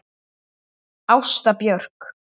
Ásta Björk.